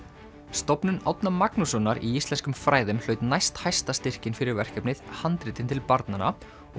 stofnun Árna Magnússonar í íslenskum fræðum hlaut næsthæsta styrkinn fyrir verkefnið handritin til barnanna og